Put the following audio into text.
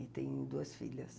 E tem duas filhas.